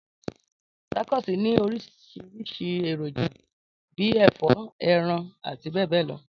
Tacos ni orísìrísi èròjà bi ẹ̀fọ́, eran áti béè béè lo.